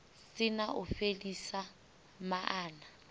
si na u fhelisa maana